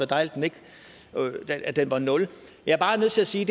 dejligt at den var nul jeg er bare nødt til at sige